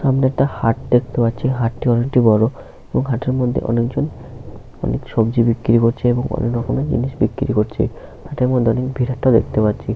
সামনে একটা হাট দেখতে পাচ্ছি হাটটি অনেকটা বড়ো ওহ হাটের মধ্যে অনেকজন অনেক সবজি বিক্রি করছে এবং অনেকরকমের জিনিস বিক্রি করছে হাটের মধ্যে অনেক ভিড়ভাট্টা দেখতে পাচ্ছি।